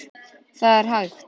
Það er hægt!